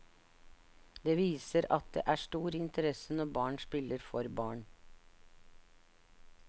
Det viser at det er stor interesse når barn spiller for barn.